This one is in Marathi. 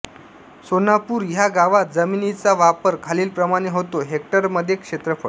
सोनापूर ह्या गावात जमिनीचा वापर खालीलप्रमाणे होतो हेक्टरमध्ये क्षेत्रफळ